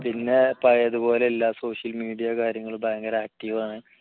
പിന്നെ പഴയതുപോലെ എല്ലാ social media കാര്യങ്ങളും ഭയങ്കര active ആണ്